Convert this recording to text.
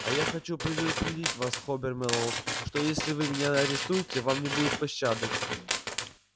а я хочу предупредить вас хобер мэллоу что если вы меня арестуете вам не будет пощады